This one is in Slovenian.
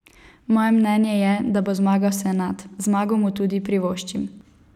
Moje mnenje je, da bo zmagal Senad, zmago mu tudi privoščim.